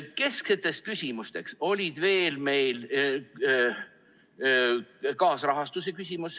Keskne küsimus oli veel kaasrahastus.